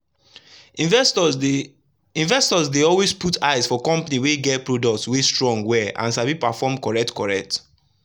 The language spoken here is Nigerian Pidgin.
investors dey investors dey always put eye for companies wey get products wey strong well and sabi perform correct-correct.